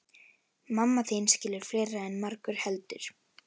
Mamma þín skilur fleira en margur heldur.